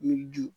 Miiri